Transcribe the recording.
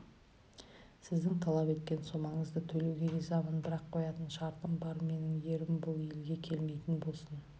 сіздің талап еткен сомаңызды төлеуге ризамын бірақ қоятын шартым бар менің ерім бұл елге келмейтін болсын